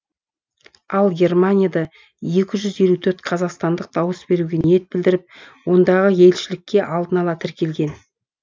ал германияда екі жүз елу төрт қазақстандық дауыс беруге ниет білдіріп ондағы елшілікке алдын ала тіркелген